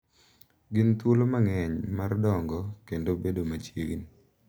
Gin thuolo mang’eny mar dongo kendo bedo machiegni,